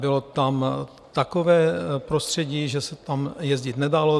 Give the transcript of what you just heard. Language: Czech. Bylo tam takové prostředí, že se tam jezdit nedalo.